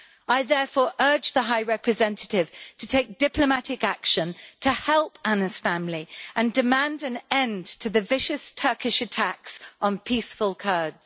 I therefore urge the High Representative to take diplomatic action to help Anna's family and demand an end to the vicious Turkish attacks on peaceful Kurds.